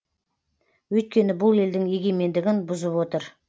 өйткені бұл елдің егемендігін бұзып отыр